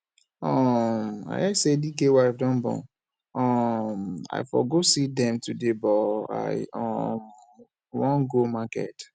um i hear say dike wife don born um i for go see dem today but i um wan go market